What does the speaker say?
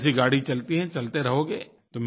जैसी गाड़ी चलती है चलते रहोगे